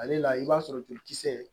Ale la i b'a sɔrɔ jolikisɛ